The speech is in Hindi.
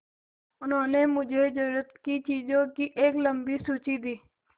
उन्होंने मुझे ज़रूरत की चीज़ों की एक लम्बी सूची दी